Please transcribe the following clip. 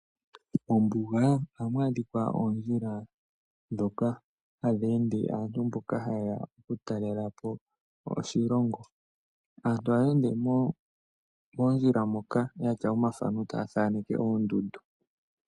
Ombuga ohamu adhika oondjila ndhoka hadhi ende mboka hayeya oku talelapo oshilongo. Aantu ohaya ende moondjila moka yatya omathano taya thaneke oondundu.